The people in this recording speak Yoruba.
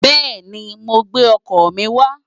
Bẹ́ẹ̀ni, màá gbé ọkọ̀ mi wá.